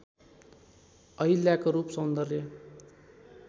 अहिल्याको रूप सौन्दर्य